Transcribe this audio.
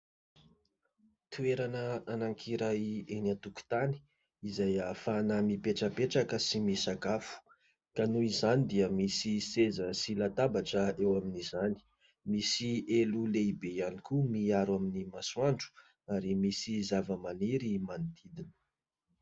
Toerana anankiray eny an-tokotany izay hahafana mipetrapetraka sy misakafo. Ka noho izany dia misy seza sy latabatra eo amin'izany, misy elo lehibe ihany koa miaro amin'ny masoandro ; ary misy zava-maniry manodidina.